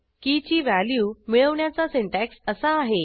की ची व्हॅल्यू मिळवण्याचा सिंटॅक्स असा आहे